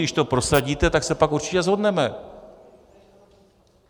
Když to prosadíte, tak se pak určitě shodneme.